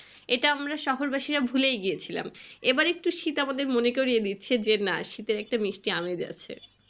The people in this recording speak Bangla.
এটা আমরা শহর বাসীরা ভুলেই গেছিলাম এবার একটু শীত আমাদের মনে করিয়ে দিচ্ছে যে না শীতের একটা মিষ্টি আমেজ আছে।